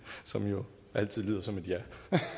som jo altid lyder som et ja